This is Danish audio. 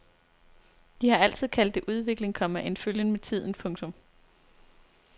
De har altid kaldt det udvikling, komma en følgen med tiden. punktum